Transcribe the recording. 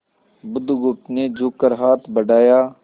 बुधगुप्त ने झुककर हाथ बढ़ाया